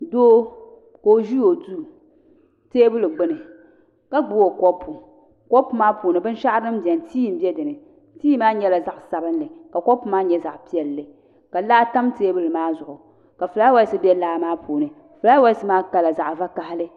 Doo ka o ʒi o duu teebuli gbunika gbubi o kopu kopu maa puuni binshaɣu din biɛni tii n biɛni tii maa nyɛla zaɣ sabinli ka kopu maa nyɛ zaɣ piɛlli ka laa tam teebuli maa zuɣu ka fulaawaasi bɛ laa maa puuni fulaawaasi maa kala zaɣ vakaɣili